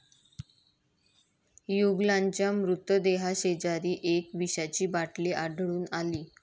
युगलांच्या मृतदेहाशेजारी एक विषाची बाटली आढळून आली.